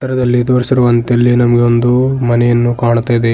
ಚಿತ್ರದಲ್ಲಿ ತೋರಿಸಿರುವಂತೆ ಇಲ್ಲಿ ನಮಗೆ ಒಂದು ಮನೆಯನ್ನು ಕಾಣ್ತಾ ಇದೆ.